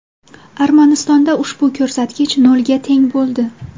Armanistonda ushbu ko‘rsatkich nolga teng bo‘ldi.